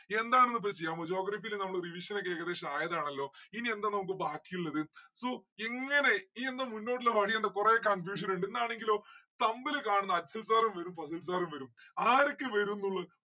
എന്താണ് ഇപ്പോ ചെയ്യാൻ പോകുന്നത് geography യില് നമ്മള് revision ക്കെ ഏകദേശം ആയതാണല്ലോ ഇനി എന്താ നമ്മുക്ക് ബാക്കിയുള്ളത് so എങ്ങനെ ഇനി എന്താ മുന്നോട്ടുള്ള വഴി എന്താ കൊറേ confusion ഇണ്ട് എന്നാണെങ്കിലോ തമ്മില് കാണുന്ന അശ്വിൻ sir ഉം വരും ഫാസിൽ sir ഉം വരും. ആരൊക്കെ വരുംന്ന്‌ ഉള്ളത്